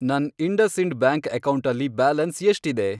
ನನ್ IndusInd bank ಅಕೌಂಟಲ್ಲಿ balance ಎಷ್ಟಿದೆ?